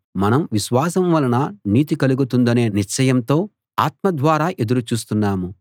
మనం విశ్వాసం వలన నీతి కలుగుతుందనే నిశ్చయంతో ఆత్మ ద్వారా ఎదురు చూస్తున్నాము